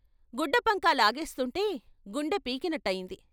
గుడ్డపంకా లాగేస్తుంటే గుండె పీకినట్టయింది.